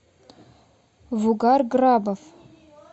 вугар грабов